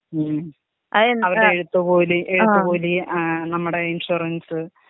ഉം അവർടെ എഴുത്തുകൂലി എഴുത്തുകൂലി ആ നമ്മുടെ ഇൻഷൂറൻസ്.